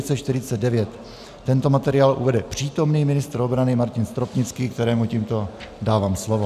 Tento materiál uvede přítomný ministr obrany Martin Stropnický, kterému tímto dávám slovo.